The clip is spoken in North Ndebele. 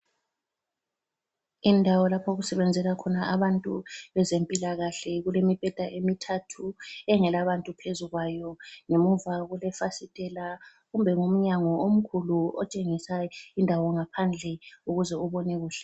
Indawo lapho okusebenzela khona abantu bezempila kahle, kulemibheda emithathu engela bantu phezu kwayo. Ngemuva kule fasitela kumbe ngumyango omkhulu otshengisa indawo ngaphandle ukuze ubone kuhle.